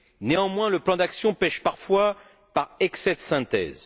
Néanmoins, le plan d'action pèche parfois par excès de synthèse.